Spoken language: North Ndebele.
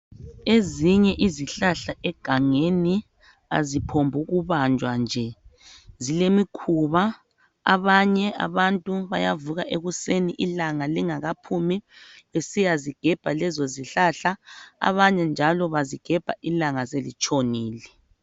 Ezinye izihlahla egangeni aziphombukubanjwa nje. Zilemikhuba abanye abantu bayavuka ekuseni ilanga lingakaphumi besiyazigebha lezozihlahla . Abanye njalo bazigebha ilanga selitshonile.